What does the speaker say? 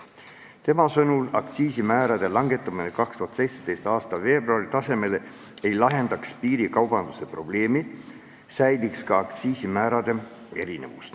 Tema sõnul ei lahendaks aktsiisimäärade langetamine 2017. aasta veebruari tasemele piirikaubanduse probleemi, säiliks ka aktsiisimäärade erinevus.